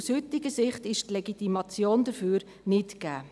Aus heutiger Sicht ist die Legitimation hierfür nicht gegeben.